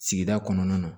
Sigida kɔnɔna na